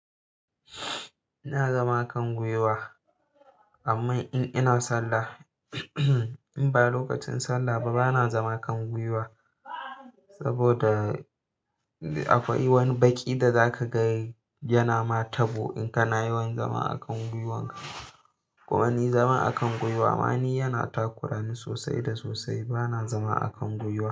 In zama kan gwiwa amman in ina sallah, imba lokacin sallah ba, bana zama kan gwiwa saboda akwai wani baki da zaka ga yana ma tabo in kana yawan zama a kan gwiwanka. Kuma ni zama a kan gwiwa ma ni yana takura ni sosai da sosai, bana zama a kan gwiwa.